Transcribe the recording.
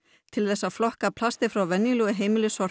til þess að flokka plastið frá venjulegu heimilissorpi